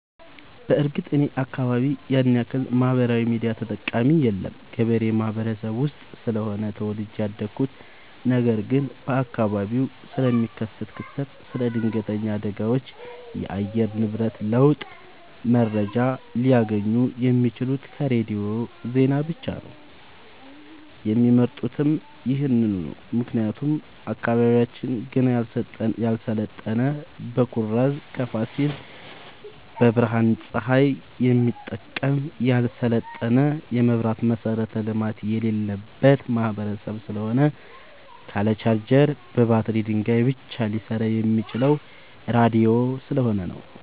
በርግጥ እኔ አካባቢ ያንያክል ማህበራዊ ሚዲያ ተጠቀሚ የለም ገበሬ ማህበረሰብ ውስጥ ስለሆነ ተወልጄ ያደኩት ነገር ግን በአካባቢው ስለሚከሰት ክስተት ስለ ድነገተኛ አደጋዎች የአየር ንብረት ለውጥ መረጃ ሊያገኙ የሚችሉት ከሬዲዮ ዜና ብቻ ነው የሚመርጡትም ይህንኑ ነው ምክንያቱም አካባቢያችን ገና ያልሰለጠነ በኩራዝ ከፋሲል በፀሀይ ብረሃን የሚጠቀም ያልሰለጠነ የመብራት መሠረተ ልማት የሌለበት ማህበረሰብ ስለሆነ ካለ ቻርጀር በባትሪ ድንጋይ ብቻ ሊሰራ የሚችለው ራዲዮ ስለሆነ ነው።